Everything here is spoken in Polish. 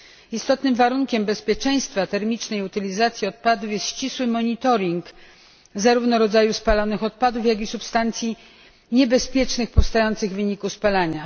Istotnym warunkiem bezpieczeństwa termicznej utylizacji odpadów jest ścisły monitoring zarówno rodzaju spalanych odpadów, jak i substancji niebezpiecznych powstających w wyniku spalania.